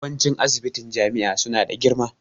Yawanci ssibitin jami'a su na da girma